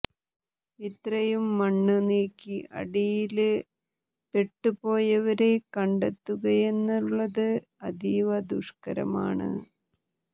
ഇത്രയും മണ്ണ് നീക്കി അടിയില് പെട്ടുപോയവരെ കണ്ടെത്തുകയെന്നുള്ളത് അതീവ ദുഷ്കരമാണ്